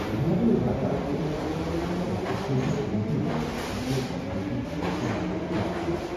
بہٕ ہیٚکہٕ نہٕ یہ برداشت کٔرتھ ز تم کتھ کٕنۍ چھ صنعتی منافہٕ خٲطرٕ ماحولیٲتی ضوابطن نظر انداز کران۔